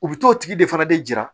U bɛ t'o tigi de fana de jira